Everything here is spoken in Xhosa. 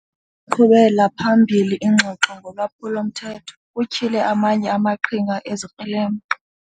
qhubela phambili ingxoxo ngolwaphulo-mthetho kutyhile amanye amaqhinga ezikrelemnqa.